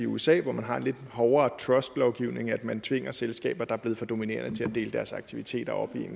usa hvor man har en lidt hårdere trustlovgivning at man tvinger selskaber der er blevet for dominerende til at dele deres aktiviteter op i en